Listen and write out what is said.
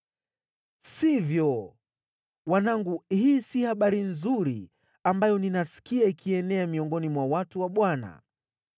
Sivyo, wanangu, hii si habari nzuri ambayo ninasikia ikienea miongoni mwa watu wa Bwana .